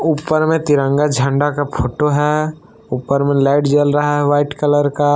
ऊपर में तिरंगा झंडा का फोटो है ऊपर में लाइट जल रहा है व्हाइट कलर का।